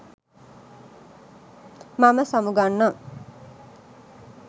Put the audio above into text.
මම සමුගන්නම්